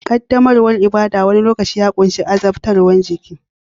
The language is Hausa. Ƙaddamarwar ibada wani lokaci ya ƙunshi azabtarwa ta jiki